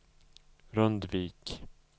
Rundvik